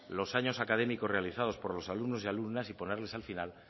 los años académicos realizados por alumnos y alumnas y ponerles al final